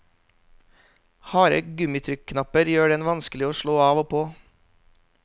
Harde gummitrykknapper gjør den vanskelig å slå av og på.